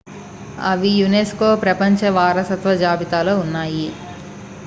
అవి యునెస్కో ప్రపంచ వారసత్వ జాబితాలో ఉన్నాయి